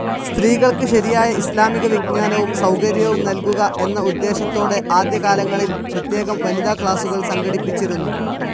സ്ത്രീകൾക്ക് ശരിയായ ഇസ്ലാമിക വിജ്ഞാനവും സൌകര്യവും നൽകുക എന്ന ഉദ്ദേശത്തോടെ ആദ്യകാലങ്ങളിൽ പ്രത്യേകം വനിതാക്ലാസ്സുകൾ സംഘടിപ്പിച്ചിരുന്നു.